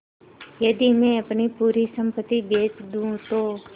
यदि मैं अपनी पूरी सम्पति बेच दूँ तो